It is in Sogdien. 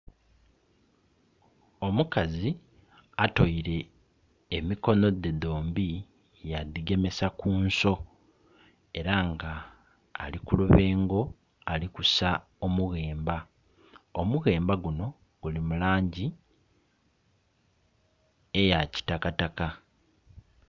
Omukazi otoile emikono dhe dhombi ya dhigemesa ku nso era nga ali ku lubengo ali kusa omughemba, omughemba guno guli mu langi eya kitakataka.